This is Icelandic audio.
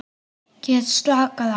Get slakað á.